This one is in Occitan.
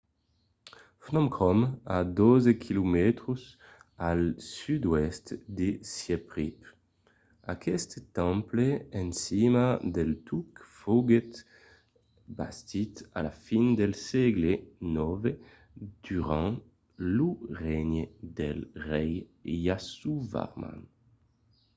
phnom krom a 12 km al sud-oèst de siemp reap. aqueste temple en cima del tuc foguèt bastit a la fin del sègle ix durant lo regne del rei yasovarman